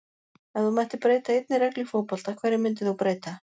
Ef þú mættir breyta einni reglu í fótbolta, hverju myndir þú breyta?